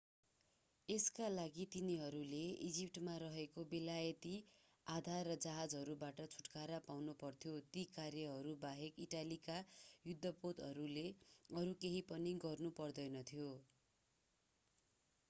यसका लागि तिनीहरूले इजिप्टमा रहेका बेलायती आधार र जहाजहरूबाट छुटकारा पाउनुपर्थ्यो ती कार्यहरूबाहेक इटालीका युद्धपोतहरूले अरू केही पनि गर्नु पर्दैनथ्यो